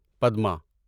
Padma